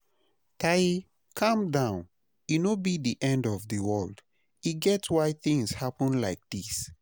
Taye, Calm down, e no be the end of the world, e get why things happen like dis